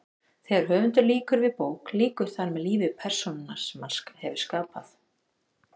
Þegar höfundur lýkur við bók lýkur þar með lífi persónunnar sem hann hefur skapað.